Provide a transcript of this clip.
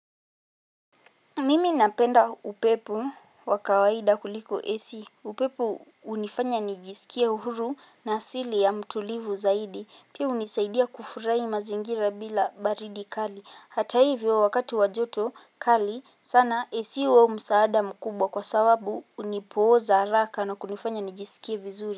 Mimi napenda upepo wa kawaida kuliko esi upepo unifanya nijisikie uhuru na asili ya mtulivu zaidi pia unisaidi ya kufurai mazingira bila baridi kali hata ivyo wakati wa joto kali sana AC huwa msaada mukubo kwa sawabu unipoza raka no kunufanya nijisikia vizuri.